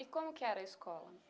E como que era a escola?